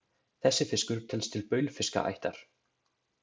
Þessi fiskur telst til baulfiskaættar.